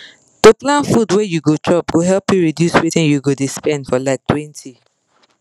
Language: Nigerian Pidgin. to plan food wey you go chop go help you reduce wetin you dey spend for like 20